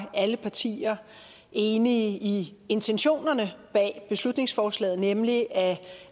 alle partier enige i intentionerne bag beslutningsforslaget nemlig at